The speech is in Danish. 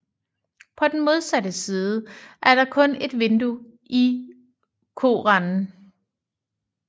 På den modsatte side er der kun et vindue i korenden